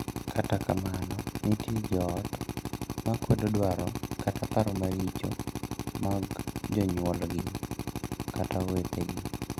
Kata kamano, nitie joot ma kwedo dwaro kata paro maricho mag jonyuolgi kata owetegi.